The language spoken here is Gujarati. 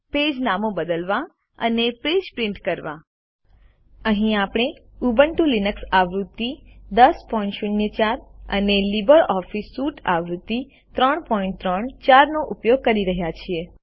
પેજનું નામ બદલો અને પેજ પ્રિન્ટ કરો અહીં આપણે ઉબુન્ટુ લિનક્સ આવૃત્તિ 1004 અને લિબ્રિઓફિસ સ્યુટ આવૃત્તિ 334 વાપરી રહ્યા છીએ